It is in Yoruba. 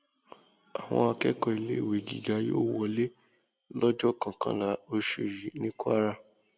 àwọn akẹkọọ iléèwé gíga yóò wọlé lọjọ lọjọ kọkànlá oṣù yìí ní kwara